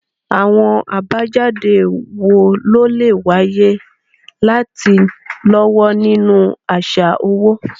Àwọn àbájáde wo ló lè wáyé láti lọ́wọ́ nínú àṣà owó?